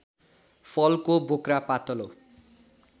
फलको बोक्रा पातलो